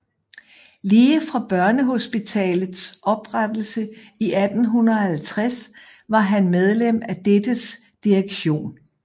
Lige fra Børnehospitalets oprettelse 1850 var han medlem af dettes direktion